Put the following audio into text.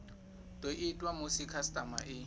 do itwa musi khasitama i